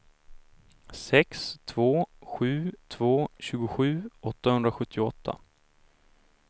sex två sju två tjugosju åttahundrasjuttioåtta